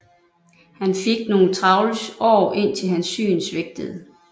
Han fik nogle travle år indtil hans syn svigtede